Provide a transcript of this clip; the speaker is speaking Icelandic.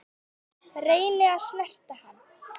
Reyni að snerta hann.